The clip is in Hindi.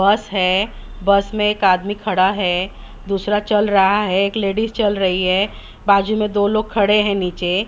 बस है बस में एक आदमी खड़ा है दूसरा चल रहा है एक लेडिस चल रही है बाजू में दो लोग खड़े हैं नीचे।